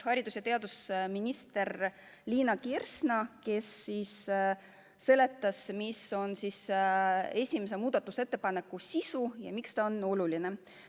Haridus- ja teadusminister Liina Kersna seletas, mis on esimese muudatusettepaneku sisu ja miks see on oluline.